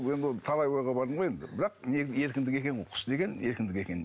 енді ол талай ойға бардым ғой енді бірақ негізі еркіндік екен ғой құс деген еркіндік екен